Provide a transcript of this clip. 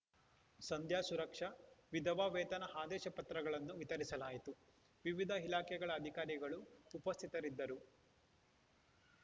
ಸಂಧ್ಯಾ ಸುರಕ್ಷಾ ವಿಧವಾ ವೇತನ ಆದೇಶ ಪತ್ರಗಳನ್ನು ವಿತರಿಸಲಾಯಿತು ವಿವಿಧ ಇಲಾಖೆಗಳ ಅಧಿಕಾರಿಗಳು ಉಪಸ್ಥಿತರಿದ್ದರು